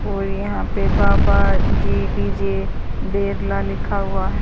और यहां पे बाबा जी डी_जे बेरला लिखा हुआ है।